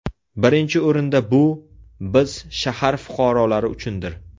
Birinchi o‘rinda bu, biz shahar fuqaralori uchundir.